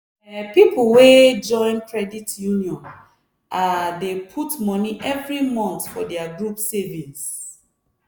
um people wey join credit union um dey put money every month for their group savings.